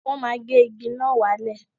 Wọ́n ma gé igi náà wálẹ̀